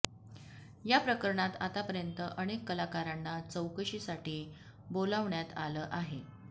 या प्रकरणात आतापर्यंत अनेक कलाकारांना चौकशीसाठी बोलावण्यात आलं आहे